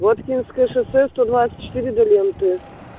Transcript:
воткинское шоссе сто двадцать четыре до ленты